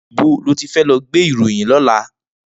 Nibó ló ti fè lò gbé iróyin lòlá?